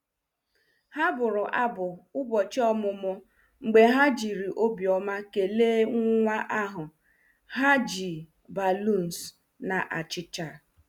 Ha bụrụ abụ ụbọchị ọmụmụ mgbe ha jiri obi ọma kelee nwa ahụ, ha ji balloons na achicha.